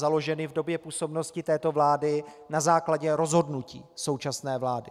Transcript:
založeny v době působnosti této vlády na základě rozhodnutí současné vlády.